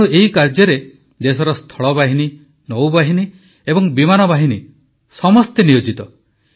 ତେଣୁ ଏହି କାର୍ଯ୍ୟରେ ଦେଶର ସ୍ଥଳବାହିନୀ ନୌବାହିନୀ ଏବଂ ବିମାନବାହିନୀ ସମସ୍ତେ ନିୟୋଜିତ